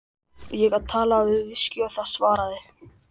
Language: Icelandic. Ég gat talað við viskí og það svaraði.